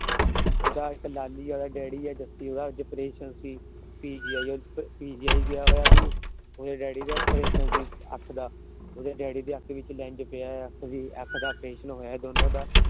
ਉਹੰਦਾ ਇੱਕ ਲਾਲੀ ਏ ਉਹੰਦਾ ਡੈਡੀ ਏ ਦੱਸੀ ਜਾਂਦਾ ਅੱਜ ਉਹੰਦਾ ਅਪਰੇਸ਼ਨ ਸੀ। PGI ਗਿਆ ਹੋਇਆ ਸੀ। ਉਹਂਦੇ ਡੈਡੀ ਦਾ ਅਪਰੇਸ਼ਨ ਸੀ ਅੱਖ ਦਾ। ਉਹਂਦੇ ਡੈਡੀ ਦੀ ਅੱਖ ਵਿੱਚ Lens ਪਿਆ ਹੋਇਆ। ਅੱਖ ਦਾ ਅਪਰੇਸ਼ਨ ਹੋਇਆ ਦੋਨਾਂ ਦਾ।